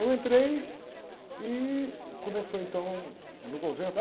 Eu entrei e começou então no convento.